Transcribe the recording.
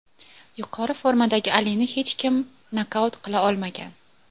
Yuqori formadagi Alini hech kim nokaut qila olmagan.